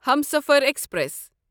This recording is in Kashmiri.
ہمسفر ایکسپریس